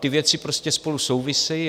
Ty věci prostě spolu souvisejí.